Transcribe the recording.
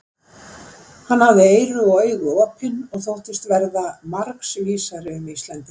Hann hafði eyru og augu opin og þóttist verða margs vísari um Íslendinga.